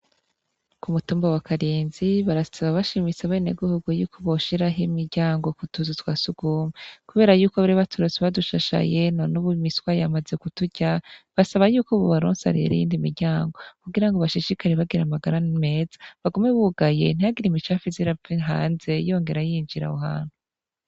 K'umutumba wa Kanezi, barasaba bashimitse abenegihugu ko boshira imiryango k'utuzu twa sugumwe, kubera yuko bari baturonse badushashaye none ubu imiswa yamaze kuturya, basaba yuko bobaronsa rero iyindi miryango, kugira bashishikare bagira amagara meza, bagume bugaye ntihagire imicafu iva hanze yongere yinjira aho hantu.